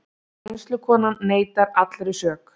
Kennslukonan neitar allri sök